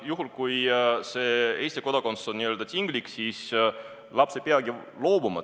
Juhul kui see Eesti kodakondsus on n-ö tinglik, siis laps ei peagi sellest loobuma.